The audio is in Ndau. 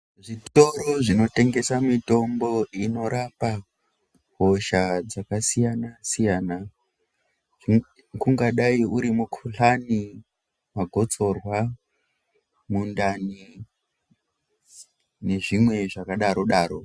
Zvitoro zvinotengese mitombo inorapa hosha dzakasiyanasiyana kungadai uri mukhuhlani ,gotsorwa ,mundani nezvimwe zvakadarodaro.